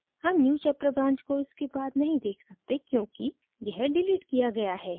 हम newchapter branch को इसके बाद नहीं देख सकते क्योंकि यह डिलीट किया गया है